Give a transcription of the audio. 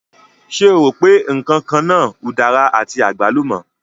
Ṣé o rò pé ǹkan kan náà udara àti àgbálùmọ̀?